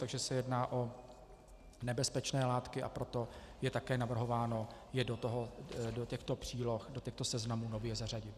Takže se jedná o nebezpečné látky, a proto je také navrhováno je do těchto příloh, do těchto seznamů, nově zařadit.